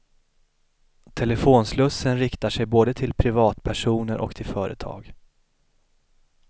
Telefonslussen riktar sig både till privatpersoner och till företag.